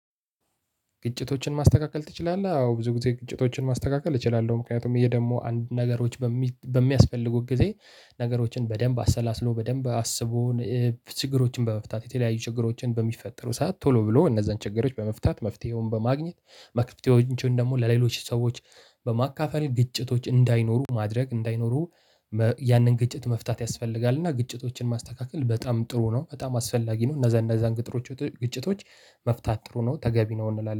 ግጭቶችን ማስተካከል ትችላለህ? አዎ ብዙ ጊዜ ግጭቶችን ማስተካከል እችላለሁ። ምክንያቱም ይሄ ደግሞ አንድ ነገሮች በሚያስፈልጉት ጊዜ ነገሮችን በደንብ አሰላስሎ በደንብ አስቦ። ችግሮችን በመፍታት የተለያዩ ችግሮችን በሚፈጠሩ ሰዓት ቶሎ ብሎ እነዛን ችግሮች በመፍታት መፍትሄውን በማግኘት መፍትሄዎቹን ደግሞ ለሌሎች ሰዎች በማካፈል ግጭቶች እንዳይኖሩ ማድረግ እንዳይኖሩ። ያንን ግጭት መፍታት ያስፈልጋል። እና ግጭቶችን ማስተካከል በጣም ጥሩ ነው በጣም አስፈላጊ ነው። እነዛ እነዛን ግጭቶች ግጭቶች መፍታት ጥሩ ነው ተገቢ ነው። እንላለን